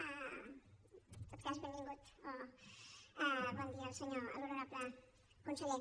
en tot cas benvingut o bon dia a l’honorable conseller